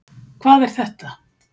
Hvað er þetta